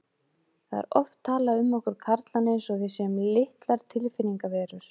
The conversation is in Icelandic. Það er oft talað um okkur karlana eins og við séum litlar tilfinningaverur.